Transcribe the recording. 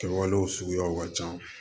Kɛwalew suguyaw ka ca